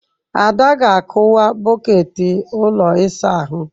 Ada ga-akụwa bọket ụlọ ịsa ahụ.